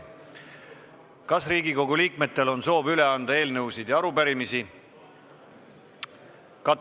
Kas Riigikogu liikmetel on soov üle anda eelnõusid ja arupärimisi?